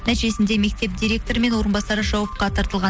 нәтижесінде мектеп директоры мен орынбасары жауапқа тартылған